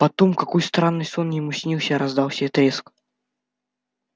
потом какой странный сон ему снился раздался треск